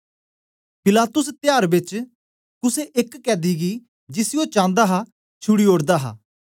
पिलातुस त्यार बेच कुसे एक कैदी गी जिसी ओ चांदा हा छुड़ी ओड़दा हा